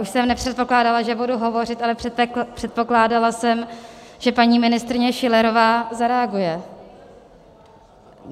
Už jsem nepředpokládala, že budu hovořit, ale předpokládala jsem, že paní ministryně Schillerová zareaguje.